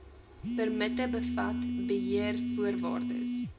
permitte bevat beheervoorwaardes